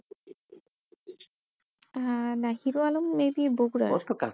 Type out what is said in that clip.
আহ না হিরো আলম maybe বকুড়ার ওইতো